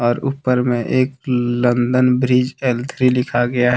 ऊपर में एक लंदन ब्रिज एल थ्री लिखा गया।